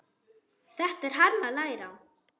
Þetta er hann að læra!